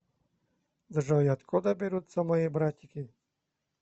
джой откуда берутся мои братики